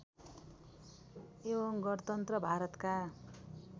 एवं गणतन्त्र भारतका